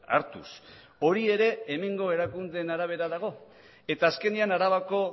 hartuz hori ere hemengo erakundeen arabera dago eta azkenean arabako